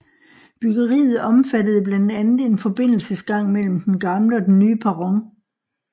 Byggeriet omfattede blandt andet en forbindelsesgang mellem den gamle og den nye perron